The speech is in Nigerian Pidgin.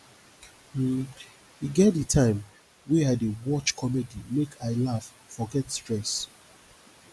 um e get di time wey i dey watch comedy make i laugh forget stress